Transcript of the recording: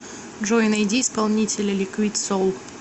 джой найди исполнителя ликвид соул